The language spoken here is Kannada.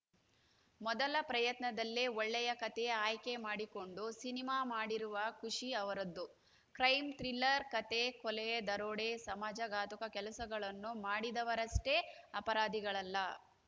ಮೊದಲ ಪ್ರಯತ್ನದಲ್ಲೇ ಒಳ್ಳೆಯ ಕತೆ ಆಯ್ಕೆ ಮಾಡಿಕೊಂಡು ಸಿನಿಮಾ ಮಾಡಿರುವ ಖುಷಿ ಅವರದ್ದು ಕ್ರೈಮ್‌ ಥ್ರಿಲ್ಲರ್‌ ಕತೆ ಕೊಲೆ ದರೋಡೆ ಸಮಾಜ ಘಾತುಕ ಕೆಲಸಗಳನ್ನು ಮಾಡಿದವರಷ್ಟೇ ಅಪರಾದಿಗಳಲ್ಲ